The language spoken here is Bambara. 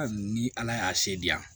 Hali ni ala y'a se di yan